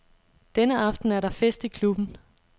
Denne aften er der fest i klubben.